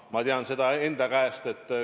Ma tean seda omast käest.